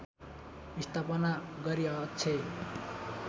स्थापना गरी अक्षय